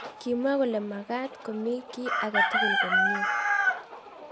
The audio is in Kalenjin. Kimwa kole makaat komii kii agetugul komyei